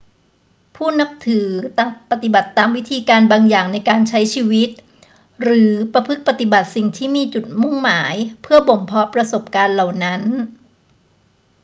ผู้นับถือต่างปฏิบัติตามวิธีการบางอย่างในการใช้ชีวิต หรือประพฤติปฏิบัติสิ่งที่มีจุดมุ่งหมายเพื่อบ่มเพาะประสบการณ์เหล่านั้น